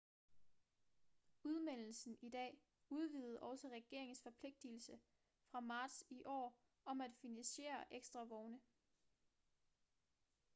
udmeldelsen i dag udvidede også regeringens forpligtelse fra marts i år om at finansiere ekstra vogne